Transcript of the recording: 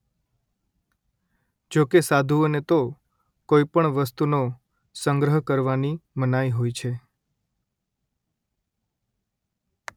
જોકે સાધુઓને તો કોઈ પણ વસ્તુનો સંગ્રહ કરવાની મનાઈ હોય છે